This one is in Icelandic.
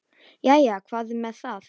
Jæja, hvað um það.